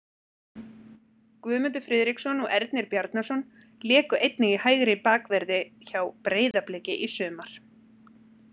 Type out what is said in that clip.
Guðmundur Friðriksson og Ernir Bjarnason léku einnig í hægri bakverði hjá Breiðabliki í sumar.